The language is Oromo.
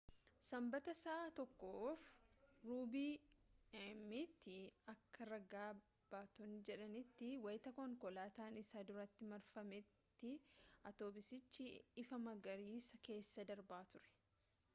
sanbata sa’a 1:15 a.m tti akka raga baatotni jedhanitti wayita konkolaataan isa duratti marfate atoobisichi ifa magariisaa keessa darbaa ture